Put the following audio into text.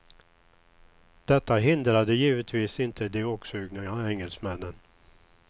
Detta hindrade givetvis inte de åksugna engelsmännen.